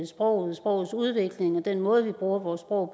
sproget og sprogets udvikling og den måde vi bruger vores sprog